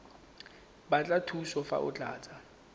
batla thuso fa o tlatsa